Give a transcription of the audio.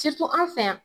anw fɛ yan